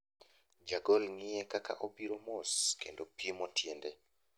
Jagol ng'iye kaka obiro mos, kendo pimo tiende.